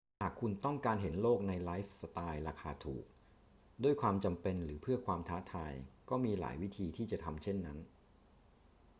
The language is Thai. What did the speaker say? หากคุณต้องการเห็นโลกในไลฟ์สไตล์ราคาถูก ด้วยความจำเป็นหรือเพื่อความท้าทาย ก็มีหลายวิธีที่จะทำเช่นนั้น